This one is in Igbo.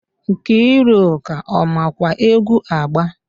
Nkiruka ọ makwa egwu agba?